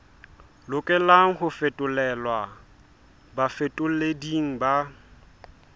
lokelang ho fetolelwa bafetoleding ba